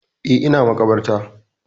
Eh, ina maƙabarta.